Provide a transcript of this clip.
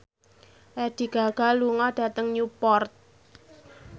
Lady Gaga lunga dhateng Newport